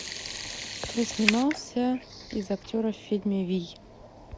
кто снимался из актеров в фильме вий